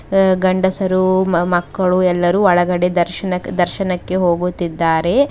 ಅ ಗಂಡಸರು ಮ ಮ ಮಕ್ಕಳು ಎಲ್ಲರೂ ಒಳಗಡೆ ದರ್ಶನ ದರ್ಶನಕ್ಕೆ ಹೋಗುತ್ತಿದ್ದಾರೆ.